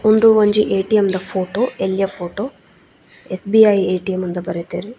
ಉಂದು ಒಂಜಿ ಏ.ಟಿ.ಎಮ್ ದ ಫೊಟೊ ಎಲ್ಲ್ಯ ಫೊಟೊ ಎಸ್ಸ್.ಬಿ.ಐ ಏ.ಟಿ.ಎಮ್ ಇಂದ್ ಬರೆತೆರ್.